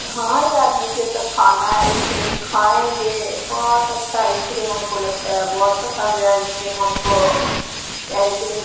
हां यार मुझे तो खाना है आइसक्रीम खाएंगे बहुत अच्छा आइसक्रीम हमको लगता है बहुत पसंद है आइसक्रीम हमको ये आइसक्रीम --